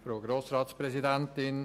Kommissionssprecher